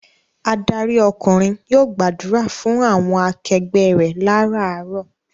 Adarí ọkùnrin yóò gbàdúrà fún àwọn akẹgbẹ́ rẹ láràárọ̀.